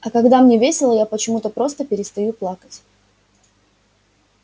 а когда мне весело я почему-то просто перестаю плакать